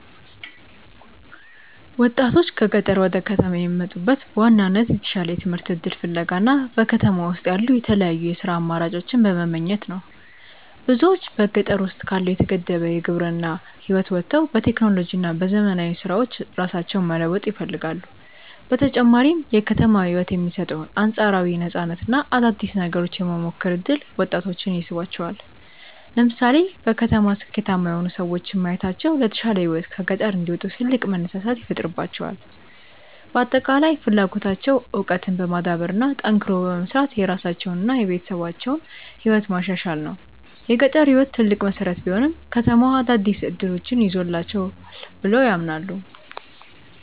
ወጣቶች ከገጠር ወደ ከተማ የሚመጡት በዋናነት የተሻለ የትምህርት እድል ፍለጋ እና በከተማ ውስጥ ያሉ የተለያዩ የሥራ አማራጮችን በመመኘት ነው። ብዙዎች በገጠር ውስጥ ካለው የተገደበ የግብርና ህይወት ወጥተው በቴክኖሎጂ እና በዘመናዊ ስራዎች ራሳቸውን መለወጥ ይፈልጋሉ። በተጨማሪም የከተማው ህይወት የሚሰጠው አንፃራዊ ነፃነት እና አዳዲስ ነገሮችን የመሞከር እድል ወጣቶችን ይስባቸዋል። ለምሳሌ በከተማ ስኬታማ የሆኑ ሰዎችን ማየታቸው ለተሻለ ህይወት ከገጠር እንዲወጡ ትልቅ መነሳሳት ይፈጥርላቸዋል። በአጠቃላይ ፍላጎታቸው እውቀትን በማዳበር እና ጠንክሮ በመስራት የራሳቸውንና የቤተሰባቸውን ህይወት ማሻሻል ነው። የገጠር ህይወት ትልቅ መሰረት ቢሆንም፣ ከተማው አዳዲስ እድሎችን ይዞላቸዋል ብለው ያምናሉ።